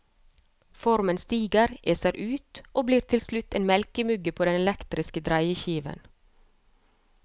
Formen stiger, eser ut og blir til slutt en melkemugge på den elektriske dreieskiven.